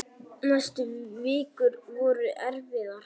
Næstu vikur voru erfiðar.